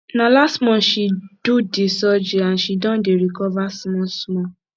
na last month she do di surgery and she don dey recover smallsmall